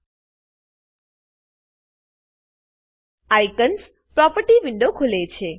icons icons property window ખુલે છે